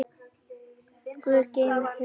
Guð geymi þig, þín, Ásdís.